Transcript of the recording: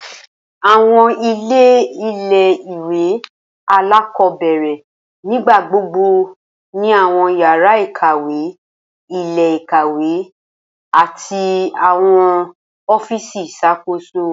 Awọn ile ile-iwe alakọbẹrẹ nigbagbogbo ni awọn yara ikawe, ile-ikawe, ati awọn ọfíìsì iṣakoso.